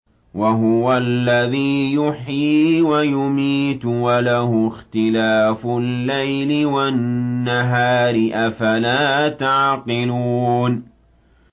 وَهُوَ الَّذِي يُحْيِي وَيُمِيتُ وَلَهُ اخْتِلَافُ اللَّيْلِ وَالنَّهَارِ ۚ أَفَلَا تَعْقِلُونَ